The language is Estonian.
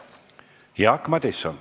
Jaak Madison.